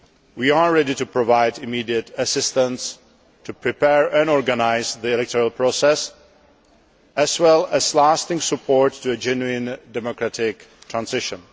We are ready to provide immediate assistance in preparing and organising the electoral process, as well as lasting support for a genuine democratic transition.